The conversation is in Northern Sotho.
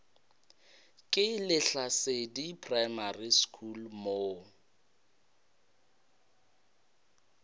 ke lehlasedi primary school mo